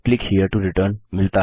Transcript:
click here to return